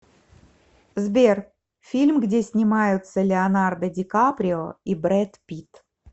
сбер фильм где снимаются леонардо дикаприо и бред пит